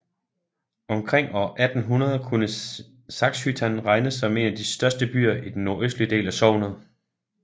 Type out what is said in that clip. Omkring år 1800 kunne Saxhyttan regnes som en af de største byer i den nordøstlige del af sognet